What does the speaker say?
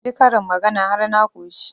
Na ji karin magana har na ƙoshi